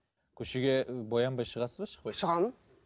көшеге боянбай шығасыз ба шығамын